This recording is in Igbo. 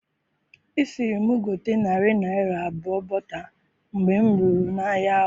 I siri mụ gote narị naira abụọ bota mgbe mụ ruru n'ahia ahụ